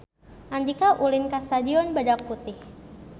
Andika ulin ka Stadion Badak Putih